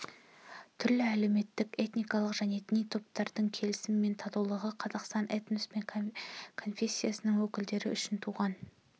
түрлі әлеуметтік этникалық және діни топтардың келісімі мен татулығы қазақстан этнос пен конфессияның өкілдері үшін туған